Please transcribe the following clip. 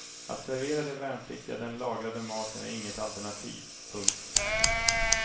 Att servera de värnpliktiga den lagrade maten är inget alternativ. punkt